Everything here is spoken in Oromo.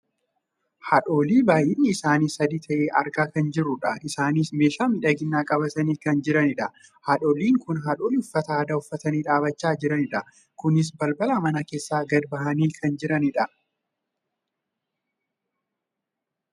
haadholii baayyinni isaanii sadi ta'e argaa kan jirrudha. isaanis meeshaa miidhaginaa qabatanii kan jiranidha. haadholiin kun haadholii uffata aadaa uffatanii dhaabbachaa jiraniidha. kunis balbala mana keessaa gad bahanii kan jiranidha.